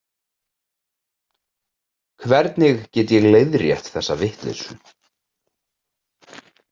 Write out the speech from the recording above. Hvernig get ég leiðrétt þessa vitleysu?